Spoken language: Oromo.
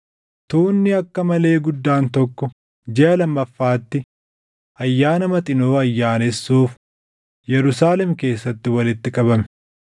Tuunni akka malee guddaan tokko jiʼa lammaffaatti Ayyaana Maxinoo ayyaanessuuf Yerusaalem keessatti walitti qabame.